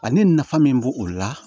A ni nafa min b'o o la